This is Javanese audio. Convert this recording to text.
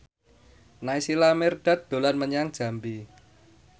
Naysila Mirdad dolan menyang Jambi